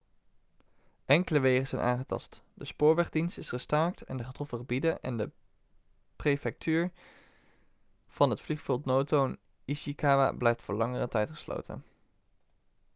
enkele wegen zijn aangetast de spoorwegdienst is gestaakt in de getroffen gebieden en de prefectuur van het vliegveld noto in ishikawa blijft voor langere tijd gesloten